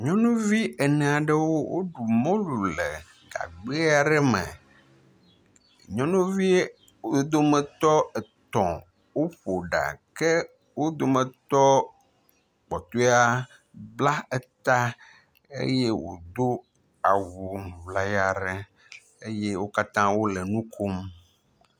Nyɔnuvi ene aɖewo woɖu mɔlu le gagbe aɖe me. Nyɔnuvi wo dometɔ etɔ̃ woƒo ɖa ke wo dometɔ kpɔtɔe bla eta eye wodo awu ŋlaya aɖe eye wo katã wo le nu kom.